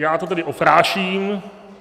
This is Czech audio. Já to tedy opráším.